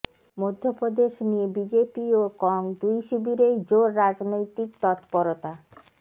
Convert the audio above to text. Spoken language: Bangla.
মধ্যপ্রদেশ নিয়ে বিজেপি ও কং দুই শিবিরেই জোর রাজনৈতিক তৎপড়তা